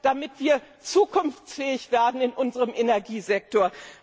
damit wir zukunftsfähig werden in unserem Energiesektor?